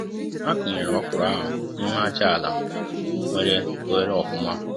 A kụ nyere ọkwụrụ ahụ n'ime aja àlà nwere oghere ofụma